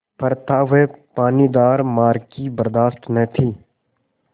पर था वह पानीदार मार की बरदाश्त न थी